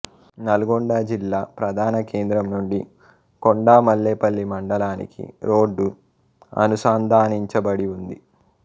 నల్గొండ జిల్లా ప్రధాన కేంద్రం నుండి కొండా మల్లేపల్లి మండలానికి రోడ్డు అనుసంధానించబడిఉంది